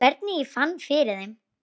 Hvernig ég fann fyrir þeim?